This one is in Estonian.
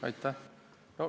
Aitäh!